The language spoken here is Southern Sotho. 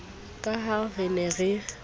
ka ha re ne re